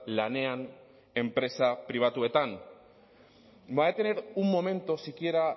lanean enpresa pribatuetan va a tener un momento siquiera